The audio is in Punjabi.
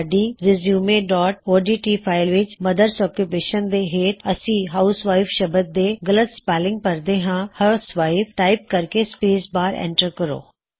ਸਾਡੀ resume dot O D T resumeਓਡਟ ਫਾਇਲ ਵਿੱਚ ਮਦਰਜ਼ ਓਕੂਪੇਸ਼ਨ ਦੇ ਹੇਠ ਅਸੀ ਹਾਊਸਵਾਇਫ ਸ਼ਬਦ ਦੇ ਗਲਤ ਸਪੈੱਲਿਂਗ ਭਰਦੇ ਹਾਂ ਹਿਊਸਵਾਈਫ ਟਾਇਪ ਕਰਕੇ ਸਪੇਸ ਬਾਰ ਐਂਟਰ ਕਰੋ